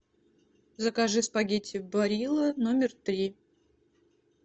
закажи спагетти барилла номер три